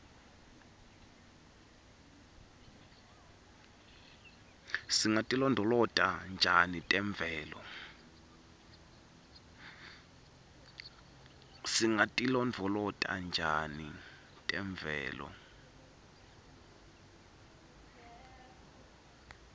singatilondvolota njani temvelo